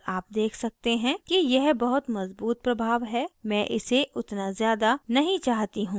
और आप देख सकते हैं कि यह बहुत मज़बूत प्रभाव है मैं इसे उतना ज़्यादा नहीं चाहती हूँ